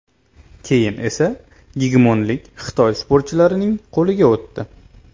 Keyin esa gegemonlik Xitoy sportchilarining qo‘liga o‘tdi.